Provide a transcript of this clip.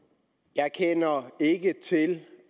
jeg kender ikke til